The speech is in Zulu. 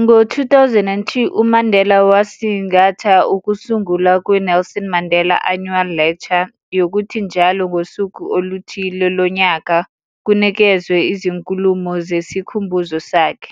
Ngo 2002, uMandela wasingatha ukusungula kwe-Nelson Mandela Annual Lecture yokuthi njalo ngosuku oluthile lonyaka kunikezwe izinkulumo zesikhumbuzo sakhe,